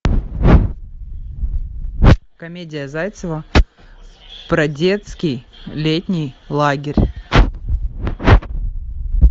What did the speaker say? комедия зайцева про детский летний лагерь